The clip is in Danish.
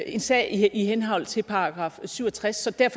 en sag i henhold til § syv og tres